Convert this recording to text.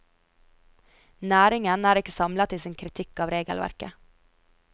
Næringen er ikke samlet i sin kritikk av regelverket.